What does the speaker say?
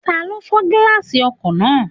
Tani ó fọ́ gíláàsì ọkọ̀ náà?